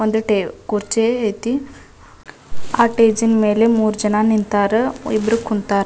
ಒಂದು ಟವ್ ಕುರ್ಚಿ ಐತಿ ಆಹ್ಹ್ ಸ್ಟೇಜ್ ಮೇಲೆ ಮೂರು ಜನ್‌ ನಿಂತರ ಇಬ್ಬರು ಕುಂತರ --